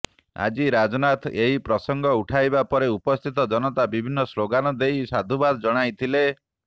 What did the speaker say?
ଆଜି ରାଜନାଥ ଏହି ପ୍ରସଙ୍ଗ ଉଠାଇବା ପରେ ଉପସ୍ଥିତ ଜନତା ବିଭିନ୍ନ ସ୍ଲୋଗାନ ଦେଇ ସାଧୁବାଦ ଜଣାଇଥିଲେ